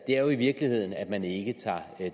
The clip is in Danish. det er jo i virkeligheden at man ikke tager